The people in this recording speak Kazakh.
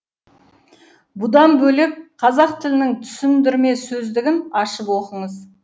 бұдан бөлек қазақ тілінің түсіндірме сөздігін ашып оқыңыз